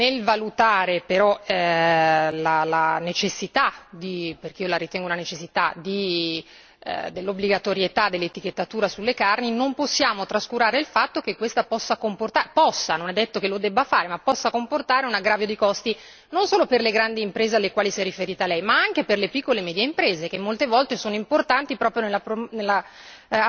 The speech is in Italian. Ho detto però che nel valutare la necessità perché io la ritengo una necessità dell'obbligatorietà dell'etichettatura sulle carni, non possiamo trascurare il fatto che questa possa non è detto che lo debba fare comportare un aggravio di costi non solo per le grandi imprese alle quali si è riferita lei, ma anche per le piccole e medie imprese, che molte volte sono importanti proprio